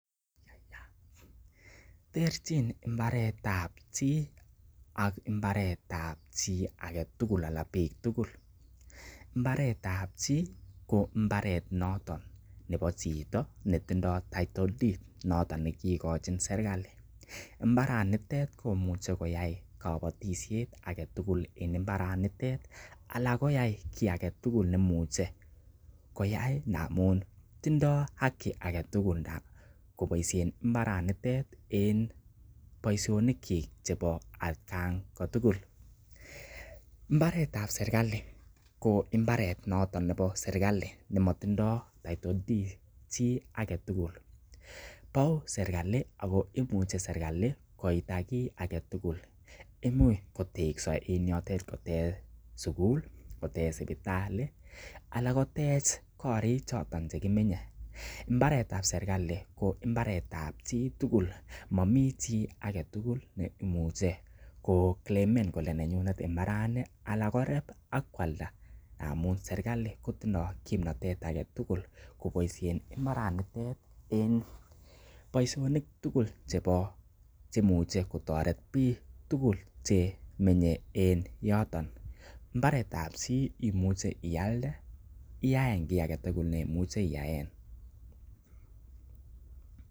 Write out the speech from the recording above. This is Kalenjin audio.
Terchin mbaret ab chi ak mbaret ab chi age tugul anan biik tugul. Mbaret ab chi ko mbaret noton nebo chito netindoi title deed noton nekikochin serkalit mbaranitet komuche koyai kobotisie age tugul en mbaranitet ana kayai chi age tugul nemuche koyai ngamun tindo haki age tugul koboisien mbarenitet en boisionikyik chebo atkan kotugul. Mbaret ab serkalit ko mbaret noton nebo serkalit ne motindoi title deed chi age tugul bou serkalit ago imuche serkalit koita kiy age tugul. Imuch kotekso en yotet kotech sugul, kotech sipitalit anan kotech korik choton che kimenye. Mbaret ab serkalit ko mbaret ab chi tugul momi chi age tugul ne imuche koclaimen kole nenyunet mbarani ala koreb ak koalda ngamun serkali kotindo kimnatet age tugul koboisien mbaranito en bosiisonik tugul che imuche kotoret biik tugul chemenye en yoton. Mbaret ab chi imuche ialdeiyaen kiy agetugul neimuche iyaen.